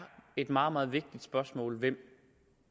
et meget meget vigtigt spørgsmål hvem